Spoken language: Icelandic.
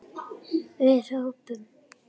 Við hrópum!